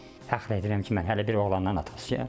Fəxr edirəm ki, mən hələ bir oğlandan atasıyam.